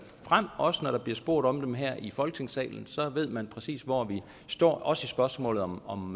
frem også når der bliver spurgt om dem her i folketingssalen så ved man præcis hvor vi står også i spørgsmålet om om